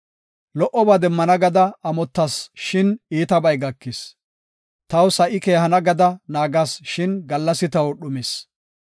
Lo77oba demmana gada amotas shin iitabay gakis; Taw sa7i keehana gada naagas shin gallasi taw dhumis.